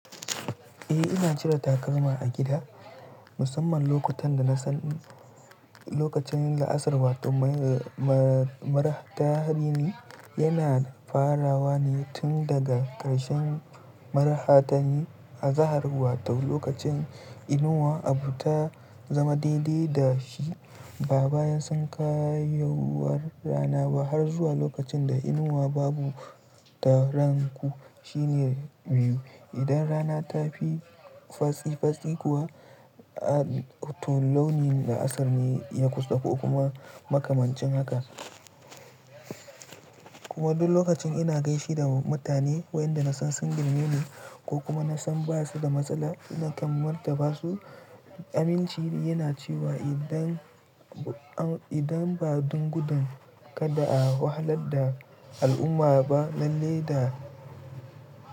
Eh ina cire takalma a gida musamman lokutan da na san lokacin la'asar wato ma ma maraha ta dini yana farawa ne tun daga karshen maraha tanyi azahar wato lokacin inuwa abu ta zama daidai da shi ba bayan sankayowar rana ba har zuwa lokacin da inuwa babu ta ranku shine biyu. Idan rana tafi fantsi fantsi kuwa a to launi la'asar ne ya kusa ko kuma makamancin haka. Kuma duk lokacin ina gaishe da mutane wayanda na san sun girmine ni ko kuma na san baya su da matsala ina kammanta basu. Aminci yana cewa idan, idan ba dungudan kada a wahalar da al'umma ba lalle da.